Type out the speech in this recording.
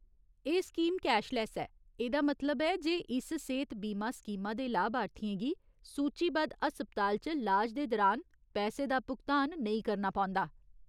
एह् scheme cashless ऐ, एह्दा मतलब ऐ जे इस सेह्त बीमा स्कीमा दे लाभार्थियें गी सूचीबद्ध हस्पताल च लाज दे दरान पैसे दा भुगतान नेईं करना पौंदा ।